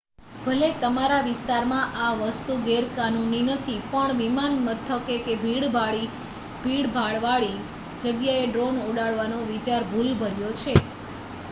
ભલે તમારા વિસ્તારમાં આ વસ્તુ ગેરકાનૂની નથી પણ વિમાનમથકે કે ભીડભાડ વાળી જગ્યાએ ડ્રોન ઉડાડવાનો વિચાર ભુલભર્યો છે